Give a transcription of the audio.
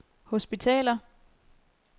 hospitaler